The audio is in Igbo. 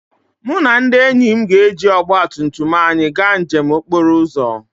Mụ na ndị enyi m ga-eji ọgba tum tum anyị gaa njem okporo ụzọ